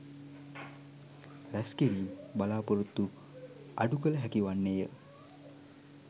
රැස්කිරීම් බලාපොරොත්තු අඩු කළ හැකි වන්නේ ය.